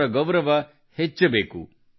ಅವರ ಗೌರವ ವೃದ್ಧಿಸಬೇಕು